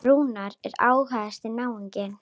Rúnar er ágætis náungi.